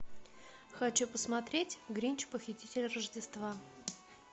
хочу посмотреть гринч похититель рождества